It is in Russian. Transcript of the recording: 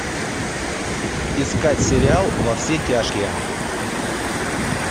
искать сериал во все тяжкие